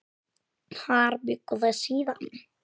Þar bjuggu þau síðan.